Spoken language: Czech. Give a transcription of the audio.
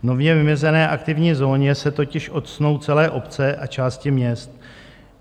V nově vymezené aktivní zóně se totiž octnou celé obce a části měst.